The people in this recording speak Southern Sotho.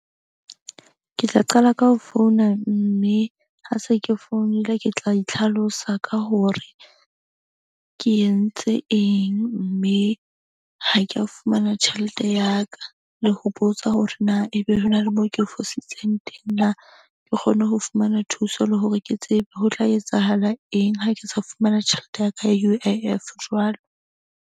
Ke tla qala ka ho founa mme ha se ke founile, ke tla itlhalosa ka hore ke entse eng. Mme ha ke a fumana tjhelete ya ka le ho botsa hore na ebe ho na le mo ke fositseng teng na. Ke kgone ho fumana thuso, le hore ke tsebe ho tla etsahala eng ha ke sa fumana tjhelete ya ka ya U_I_F jwalo.